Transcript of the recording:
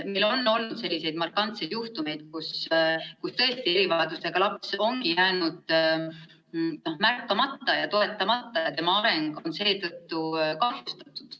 Meil on olnud selliseid markantseid juhtumeid, kus tõesti erivajadustega laps ongi jäänud märkamata ja toetamata ning tema areng on seetõttu kahjustatud.